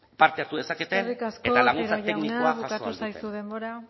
parte hartu dezaketen eta laguntza teknikoa jaso ahal duten eskerrik asko otero jauna bukatu zaizu denbora